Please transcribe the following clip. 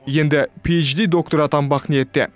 енді пиэйджди докторы атанбақ ниетте